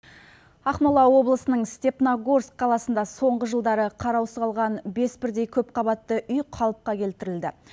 ақмола облысының степногорск қаласында соңғы жылдары қараусыз қалған бес бірдей көп қабатты үй қалыпқа келтірілді